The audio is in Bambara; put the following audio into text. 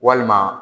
Walima